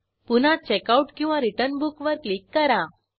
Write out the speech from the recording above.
पुन्हा checkoutरिटर्न बुक वर क्लिक करा